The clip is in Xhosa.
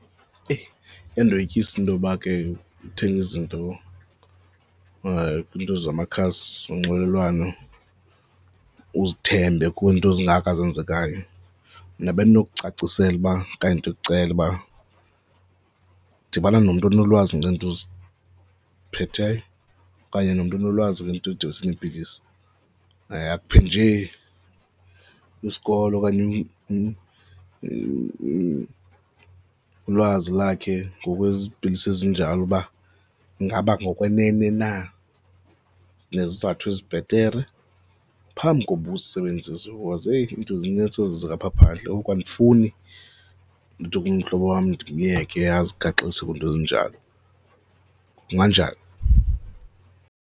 Eyi! iyandoyikisa intoba ke uthenge izinto kwiinto zamakhasi onxibelelwano, uzithembe kwiinto ezingaka ezenzekayo. Mna bendinokucacisela uba okanye ndikucela uba dibana nomntu onolwazi ngeeinto uziphetheyo okanye nomntu onolwazi ngezinto ezidibanise neepilisi akuphe njee isikolo okanye ulwazi lakhe ngokwezipilisi ezinjalo uba ingaba ngokwenene na zinezizathu ezibhetere phambi koba uzisebenzise because, heyi! Iinto zinintsi ezenzeka apha phandle. Ngoku andifuni umhlobo wam ndimyeke azigaxelise kwizinto ezinjalo, kunganjani?